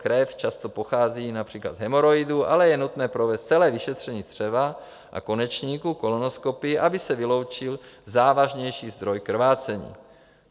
Krev často pochází například z hemoroidů, ale je nutné provést celé vyšetření střeva a konečníku kolonoskopií, aby se vyloučil závažnější zdroj krvácení.